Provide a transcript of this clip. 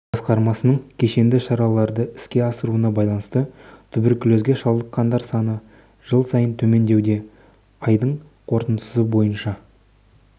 басқармасының кешенді шараларды іске асыруына байланысты туберкулезге шалдыққандар саны жыл сайын төмендеуде айдың қорытындысы бойынша